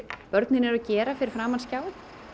börnin eru að gera fyrir framan skjáinn